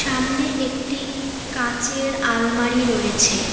সামনে একটি কাচের আলমারি রয়েছে।